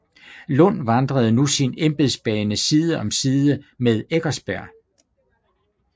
Lund vandrede nu sin embedsbane side om side med Eckersberg